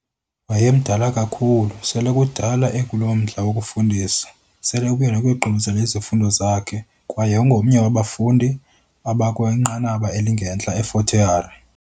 Wayemdala kakhulu, sele kudala ekulommandla wokufundisa, selebuya nokuyogqibezela izifundo zakhe kwaye wayengomnye wabafundi abakwinqanaba elingentla e -Fort Hare